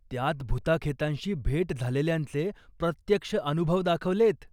त्यात भुताखेतांशी भेट झालेल्यांचे प्रत्यक्ष अनुभव दाखवलेयत.